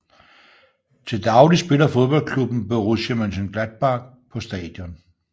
Til daglig spiller fodboldklubben Borussia Mönchengladbach på stadion